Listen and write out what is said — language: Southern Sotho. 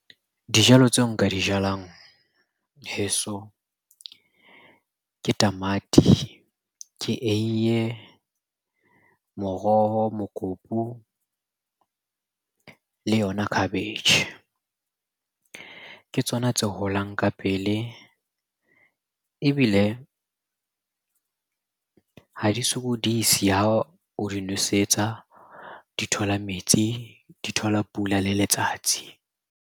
Dijalo tseo nka di jalang heso ke tamati, ke eiye, moroho, mokopu le yona khabetjhe. Ke tsona tse holang ka pele ebile ha di sokodise ha o di nosetsa. Di thola metsi, di thola pula le letsatsi.